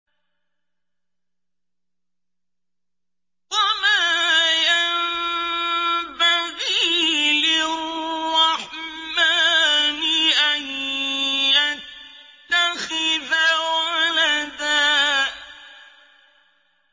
وَمَا يَنبَغِي لِلرَّحْمَٰنِ أَن يَتَّخِذَ وَلَدًا